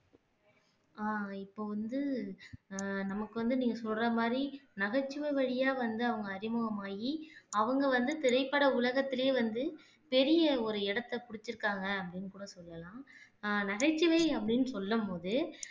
அஹ் இப்ப வந்து அஹ் நமக்கு வந்து நீங்க சொல்ற மாதிரி நகைச்சுவை வழியா வந்து அவங்க அறிமுகமாகி அவங்க வந்து திரைப்பட உலகத்திலேயே வந்து பெரிய ஒரு இடத்தை புடிச்சிருக்காங்க அப்படின்னு கூட சொல்லலாம் அஹ் நகைச்சுவை அப்படீன்னு சொல்லும் போது